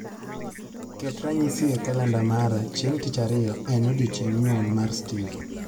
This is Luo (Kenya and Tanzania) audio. Ket ranyisi e kalenda mara chieng' tich ariayo, en odiechieng' nyuol mar Steve